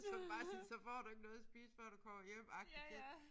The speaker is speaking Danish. Så bare sige så får du ikke noget at spise før du kommer hjem agtig det